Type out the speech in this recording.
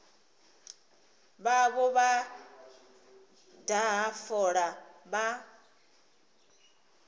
vhavho vha daha fola vha